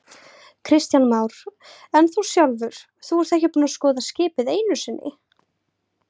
Kristján Már: En þú sjálfur, þú ert ekki búinn að skoða skipið einu sinni?